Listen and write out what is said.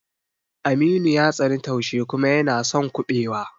Aminu ya tsani taushe kuma yana son kuɓewa.